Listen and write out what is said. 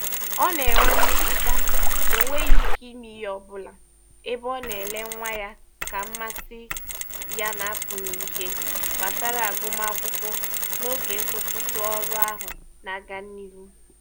Ọ na-enwe mmetụta na o nweghị ike ime ihe ọbụla ebe ọ na-ele nwa ya ka mmasị ya na-apụ n'ihe gbasara agụmakwụkwọ n'oge nkwụsịtụ ọrụ ahụ na-aga n'ihu.